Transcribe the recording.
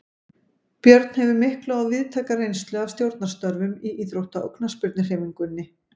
Björn hefur mikla og víðtæka reynslu af stjórnarstörfum í íþrótta- og knattspyrnuhreyfingunni.